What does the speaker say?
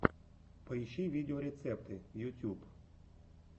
поищи видеорецепты ютьюб